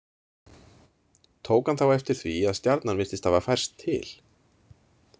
Tók hann þá eftir því að stjarnan virtist hafa færst til.